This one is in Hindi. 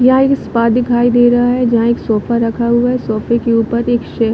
यहाँ एक स्पा दिखाई दे रहा है जहाँ एक सोफा रखा हुआ है सोफे के ऊपर एक स--